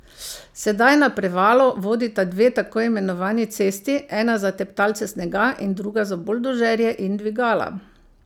Sedaj na Prevalo vodita dve takoimenovani cesti, ena za teptalce snega in druga za buldožerje in dvigala.